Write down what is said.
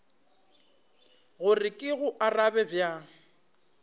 gore ke go arabe bjang